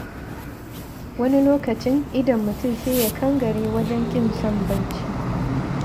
Wani lokacin idon mutum sai ya kangare wajen ƙin son bacci.